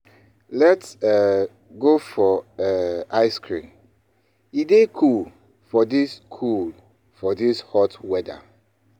Let's um go um for ice cream; e dey cool for this cool for this hot weather.